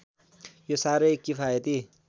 यो साह्रै किफायती